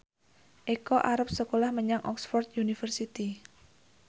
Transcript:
Eko arep sekolah menyang Oxford university